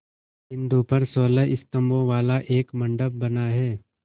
बिंदु पर सोलह स्तंभों वाला एक मंडप बना है